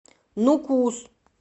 нукус